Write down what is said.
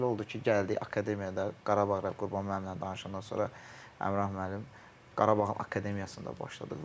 Nəsə elə oldu ki, gəldik akademiyada, Qarabağ Qurban müəllimlə danışandan sonra Rəhnam müəllim Qarabağın akademiyasında başladıq.